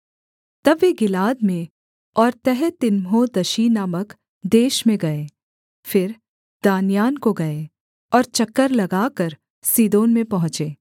तब वे गिलाद में और तहतीम्होदशी नामक देश में गए फिर दान्यान को गए और चक्कर लगाकर सीदोन में पहुँचे